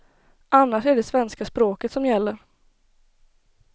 Annars är det svenska språket som gäller.